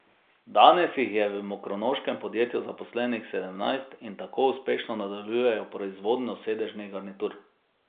Danes jih je v mokronoškem podjetju zaposlenih sedemnajst in tako uspešno nadaljujejo proizvodnjo sedežnih garnitur.